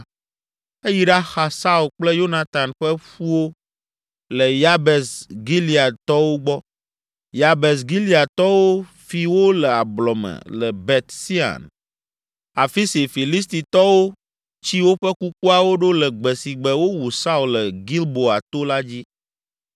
eyi ɖaxa Saul kple Yonatan ƒe ƒuwo le Yabes Gileadtɔwo gbɔ. Yabes Gileadtɔwo fi wo le ablɔ me le Bet Sean, afi si Filistitɔwo tsi woƒe kukuawo ɖo le gbe si gbe wowu Saul le Gilboa to la dzi.